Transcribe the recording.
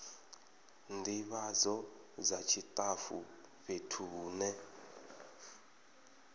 ndivhadzo dza tshitafu fhethu hune